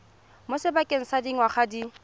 mo sebakeng sa dingwaga di